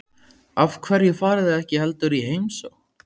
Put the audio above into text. Af hverju farið þið ekki heldur í heimsókn?